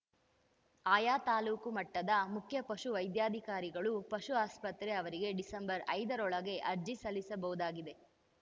ಆಯಾ ತಾಲೂಕು ಮಟ್ಟದ ಮುಖ್ಯ ಪಶು ವೈದ್ಯಾಧಿಕಾರಿಗಳು ಪಶು ಆಸ್ಪತ್ರೆ ಅವರಿಗೆ ಡಿಸೆಂಬರ್ ಐದರೊಳಗೆ ಅರ್ಜಿ ಸಲ್ಲಿಸಬಹುದಾಗಿದೆ